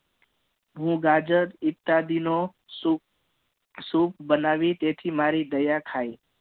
હું ગાજર ઇત્યાદિ નો સૂપ સૂપ બનાવી તેથી મારી દયા ખાય